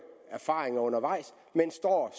erfaringer undervejs men står